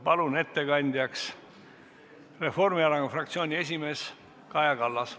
Palun ettekandjaks Reformierakonna fraktsiooni esimehe Kaja Kallase.